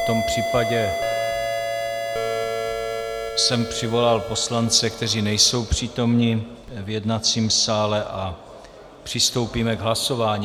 V tom případě jsem přivolal poslance, kteří nejsou přítomni v jednacím sále, a přistoupíme k hlasování.